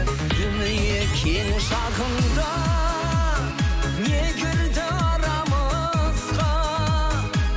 дүние кең шағында не кірді арамызға